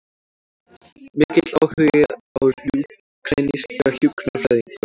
Mikill áhugi á úkraínska hjúkrunarfræðingnum